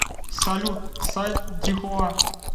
салют сайт дихуа